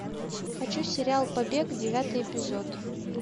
хочу сериал побег девятый эпизод